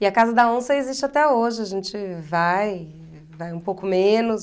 E a Casa da Onça existe até hoje, a gente vai, vai um pouco menos.